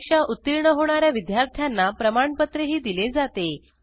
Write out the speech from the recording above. परीक्षा उत्तीर्ण होणा या विद्यार्थ्यांना प्रमाणपत्रही दिले जाते